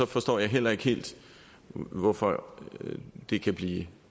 forstår jeg heller ikke helt hvorfor det kan blive